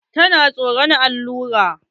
Tana tsoran allura.